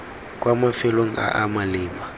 kwa mafelong a a maleba